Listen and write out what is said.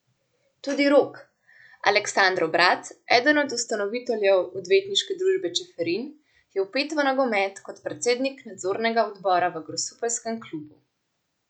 Tudi Rok, Aleksandrov brat, eden od ustanoviteljev odvetniške družbe Čeferin, je vpet v nogomet kot predsednik nadzornega odbora v grosupeljskem klubu.